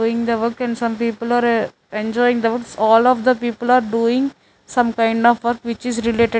doing the work and some people are ah enjoying all of the people are doing some kind of work which is related --